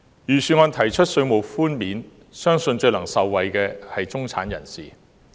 預算案提出稅務寬免，相信最能受惠的是中產人士。